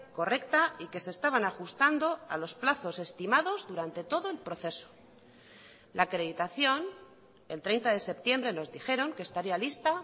correcta y que se estaban ajustando a los plazos estimados durante todo el proceso la acreditación el treinta de septiembre nos dijeron que estaría lista